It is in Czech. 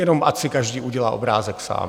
Jenom ať si každý udělá obrázek sám.